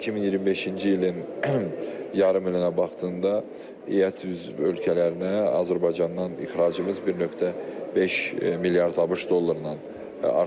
2025-ci ilin yarım ilinə baxdığında ET üzv ölkələrinə Azərbaycandan ixracımız 1.5 milyard ABŞ dolları artıqdır.